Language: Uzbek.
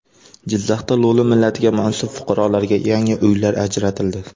Jizzaxda lo‘li millatiga mansub fuqarolarga yangi uylar ajratildi .